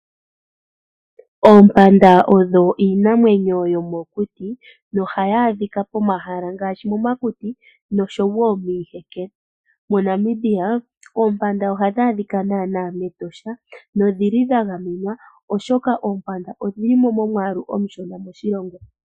Oompanda odho iinamwenyo yomokuti nohadhi adhika pomahala ngaashi momakuti nosho wo miiheke. MoNamibia oompanda ohadhi adhika mEtosha nodhi li dha gamenwa, oshoka odhi li mo momwaalu omushona moshilongo.